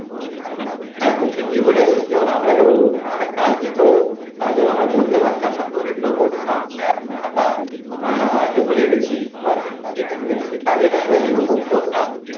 হ্যাঁ তো ঠিকই বলেছিস যখন আমরা কেউ মানে কাজ দিত আজ যখন আমি করতে পারতাম না এগুলো বলতাম স্যার খাতা আহ আনতে ভুলে গেছি বা পেন্সিলের কালি নাই বা এরকম বলতাম